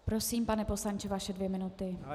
Prosím, pane poslanče, vaše dvě minuty.